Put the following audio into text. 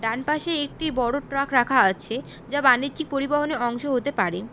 ডানপাশে একটি বড় ট্রাক রাখা আছে যা বানিজ্যিক পরিবহনে অংশ হতে পারে।